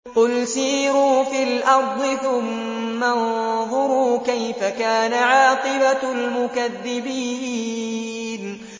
قُلْ سِيرُوا فِي الْأَرْضِ ثُمَّ انظُرُوا كَيْفَ كَانَ عَاقِبَةُ الْمُكَذِّبِينَ